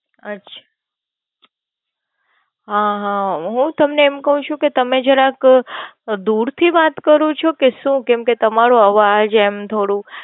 અચ્છા, હ હ હું તમને એમ કૌ છું કે તમે જરાક દૂરથી વાત કરો છો કે સુ? કેમ કે તમારો અવાજ એમ થોડું